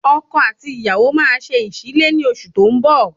Ọkọ àti ìyàwó máa ṣe ìsílé ni oṣù tó ń bọ̀